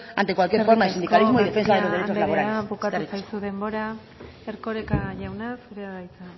ante cualquier forma de sindicalismo y defensa de los derecho laborales eskerrik asko eskerrik asko garcía anderea bukatu zaizu denbora erkoreka jauna zurea da hitza